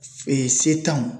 setanw